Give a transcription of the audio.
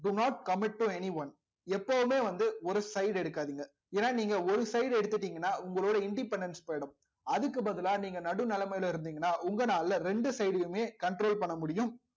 do not commit to anyone எப்பவுமே வந்து ஒரு side எடுக்காதீங்க ஏன்னா நீங்க ஒரு side எடுத்துட்டீங்கன்னா உங்களோட independence போயிடும் அதுக்கு பதிலா நீங்க நடுநிலைமையில இருந்தீங்கன்னா உங்க நாள்ல ரெண்டு side மே control பண்ண முடியும்